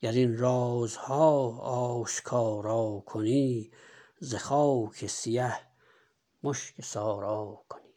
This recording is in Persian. گر این رازها آشکارا کنی ز خاک سیه مشک سارا کنی